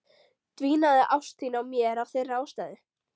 Dvínaði ást þín á mér af þeirri ástæðu?